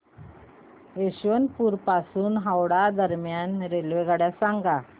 यशवंतपुर पासून हावडा दरम्यान रेल्वेगाड्या सांगा